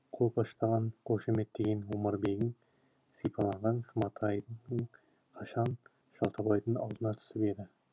сенің қолпаштаған қошаметтеген омарбегің сипаланған сматайың қашан шалтабайдың алдына түсіп еді